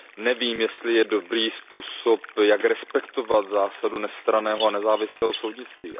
nevím, jestli je dobrý způsob, jak respektovat zásadu nestranného a nezávislého soudnictví.